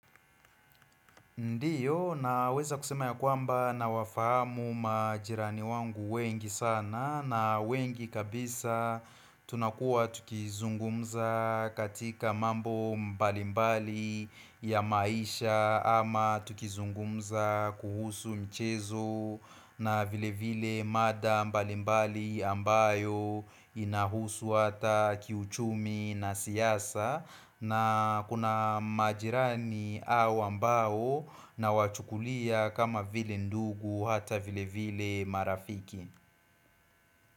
Ndiyo naweza kusema ya kwamba nawafahamu majirani wangu wengi sana na wengi kabisa tunakuwa tukizungumza katika mambo mbalimbali ya maisha ama tukizungumza kuhusu mchezo na vile vile mada mbalimbali ambayo inahusu hata kiuchumi na siasa na kuna majirani au ambao nawachukulia kama vile ndugu hata vile vile marafiki.